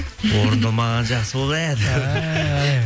орындалмағаны жақсы болды иә